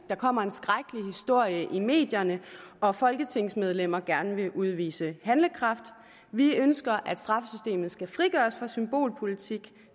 der kommer en skrækkelig historie i medierne og folketingsmedlemmer gerne vil udvise handlekraft vi ønsker at straffesystemet skal frigøres fra den symbolpolitik